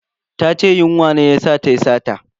Ta ce yunwa ce ta sa tayi sata.